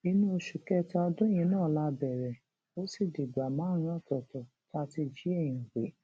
inú oṣù kẹta ọdún yìí náà la bẹrẹ ó sì dìgbà márùnún ọtọọtọ tá a ti jí èèyàn gbé